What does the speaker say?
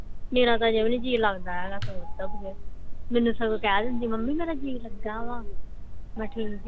ਮੇਰਾ ਤਾ ਜਮਾ ਨੀ ਜੀ ਲਗਦਾ ਹੈਗਾ ਮੈਨੂੰ ਸਗੋਂ ਕਹਿ ਦਿੰਦੀ ਆ ਮਮ੍ਮੀ ਮੇਰਾ ਜੀ ਲੱਗਾ ਵਾ ਮੈ ਕ ਠੀਕ